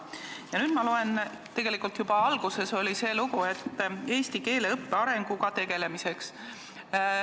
Ja nüüd ma loen siit – tegelikult juba alguses oli see lugu –, et "eesti keele õppe arenguga tegelemiseks".